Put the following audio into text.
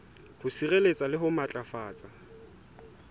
ho sireletsa le ho matlafatsa